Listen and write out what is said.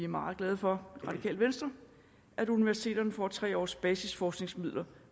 meget glade for at universiteterne får tre års basisforskningsmidler